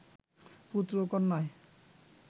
পুত্র ও কন্যায়